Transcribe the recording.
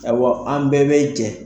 Awa an bɛɛ bɛ jɛ.